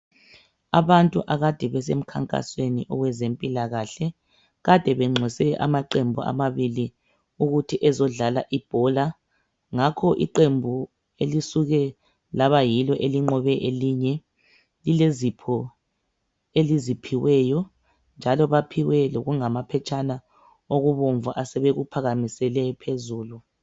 Abade akade besemkhankasweni owezempilakahle bebenxuse amaqembu amabili ukuthi azedlala ibhola. Iqembu elinqobileyo lilezipho eliziphiweyo njalo baphiwe lokungamaphetshana okubomvu asebekuphakamisele phezulu.